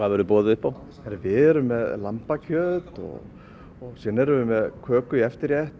verður boðið upp á við erum með lambakjöt og köku í eftirrétt